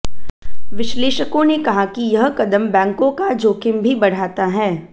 विश्लेषकों ने कहा कि यह कदम बैंकों का जोखिम भी बढ़ाता है